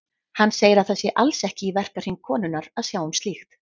Hann segir að það sé alls ekki í verkahring konunnar að sjá um slíkt.